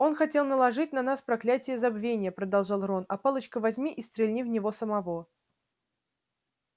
он хотел наложить на нас проклятие забвения продолжил рон а палочка возьми и стрельни в него самого